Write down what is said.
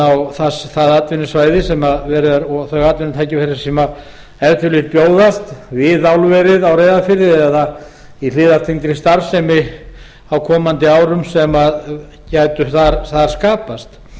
á þau atvinnusvæði og atvinnutækifæri sem ef til vill bjóðast við álverið á reyðarfirði eða hliðartengdri starfsemi á komandi árum sem gætu þar skapast við þingmenn